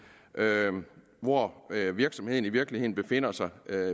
hvor virksomheden i virkeligheden befinder sig